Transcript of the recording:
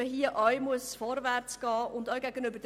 Auch hier sollen Fortschritte erzielt werden.